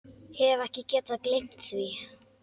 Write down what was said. Hef ekki getað gleymt því.